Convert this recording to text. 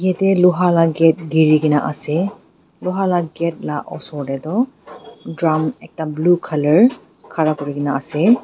jatte Loha laga gate giri kina ase Loha laga gate la osor te tu drums ekta blue colour khara kori kina ase.